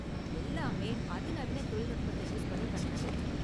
எல்லாமே அதிநவீன தொழில்நுட்பத்தை யூஸ் பண்ணி கட்டுனது.